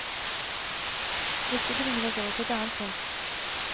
Dette bringer oss over på et annet punkt.